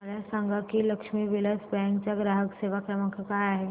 मला सांगा की लक्ष्मी विलास बँक चा ग्राहक सेवा क्रमांक काय आहे